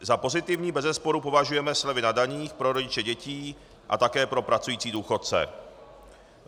Za pozitivní bezesporu považujeme slevy na daních pro rodiče dětí a také pro pracující důchodce.